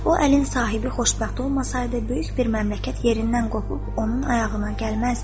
“O əlin sahibi xoşbəxt olmasaydı, böyük bir məmləkət yerindən qopub onun ayağına gəlməzdi.”